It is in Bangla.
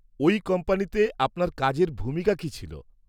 -ওই কোম্পানিতে আপনার কাজের ভূমিকা কী ছিল?